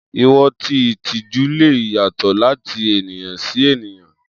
Iwọn ti itiju le yatọ lati eniyan si eniyan.